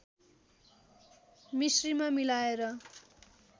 मिश्रीमा मिलाएर